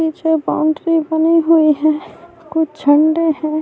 یہ جو باؤنڈری بنی ہی ہے، کچھ جھنڈے ہیں-